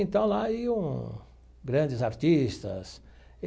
Então, lá iam grandes artistas.